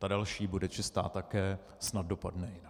Ta další bude čistá také, snad dopadne jinak.